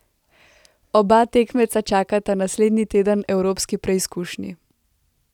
Oba tekmeca čakata naslednji teden evropski preizkušnji.